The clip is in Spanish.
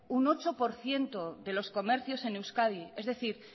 un ocho por ciento de los comercios en euskadi es decir